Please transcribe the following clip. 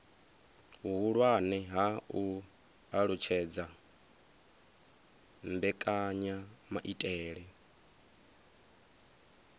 vhuhulwane ha u alutshedza mbekanyamaitele